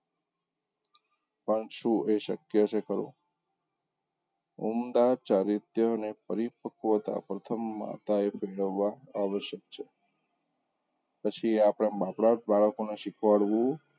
પણ શું એ શક્ય છે ખરું? ઉમદા ચારીત્ય ને પરિપક્વતા પ્રથમ માતાએ કેળવવા આવશ્યક છે પછી આપણે આપણા બાળકોને શીખવાડવું,